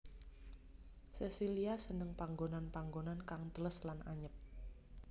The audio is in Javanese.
Sesilia seneng panggonan panggonan kang teles lan anyep